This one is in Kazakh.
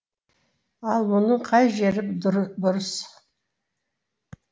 ал мұның қай жері бұрыс